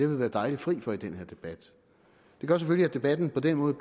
vi været dejligt fri for i den her debat det gør selvfølgelig at debatten på den måde